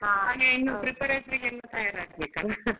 ಹಾಗೆ ಇನ್ನು preparatory ಗೆಲ್ಲ ತಯಾರ್ ಆಗ್ಬೇಕಲ್ಲ .